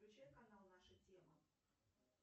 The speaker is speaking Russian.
включай канал наша тема